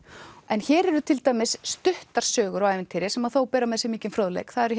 hér eru til dæmis stuttar sögur og ævintýri sem þó bera með sér mikinn fróðleik það eru